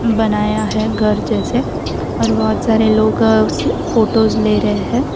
बनाया है घर जैसे और बहुत सारे लोग फोटोज ले रहे हैं।